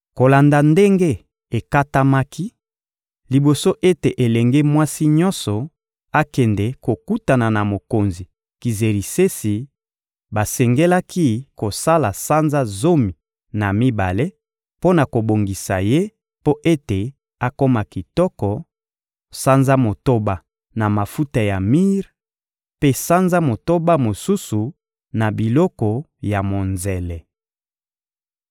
Kolanda ndenge ekatamaki, liboso ete elenge mwasi nyonso akende kokutana na mokonzi Kizerisesi, basengelaki kosala sanza zomi na mibale mpo na kobongisa ye mpo ete akoma kitoko: sanza motoba na mafuta ya mire, mpe sanza motoba mosusu na biloko ya monzele.